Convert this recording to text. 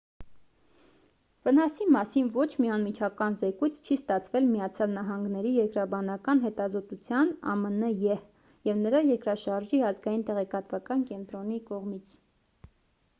վնասի մասին ոչ մի անմիջական զեկույց չի ստացվել միացյալ նահանգների երկրաբանական հետազոտության ամն եհ և նրա երկրաշարժի ազգային տեղեկատվական կենտրոնի կողմից։